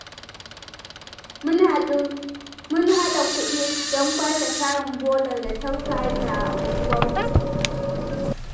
Mun haɗa kuɗi don kwashe tarin bolar da ta rufe hanya a unguwarmu.